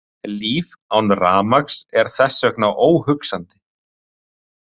Líf án rafmagns er þess vegna óhugsandi.